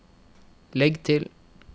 legg til